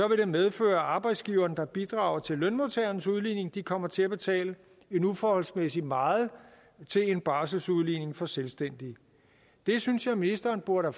det medføre at arbejdsgiverne der bidrager til lønmodtagernes udligning kommer til at betale uforholdsmæssigt meget til en barselsudligning for selvstændige det synes jeg ministeren burde